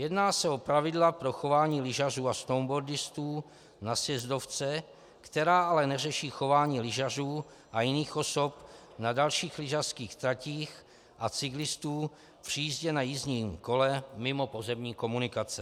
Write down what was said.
Jedná se o pravidla pro chování lyžařů a snowboardistů na sjezdovce, která ale neřeší chování lyžařů a jiných osob na dalších lyžařských tratích a cyklistů při jízdě na jízdním kole mimo pozemní komunikace.